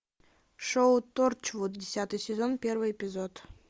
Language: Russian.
шоу торчвуд десятый сезон первый эпизод